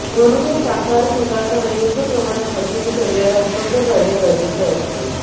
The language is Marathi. म्हणूनच शाकाहार स्वीकारताना योग्य प्रमाणात प्रथिने शरीराला उपलब्ध करणे गरजेचे असते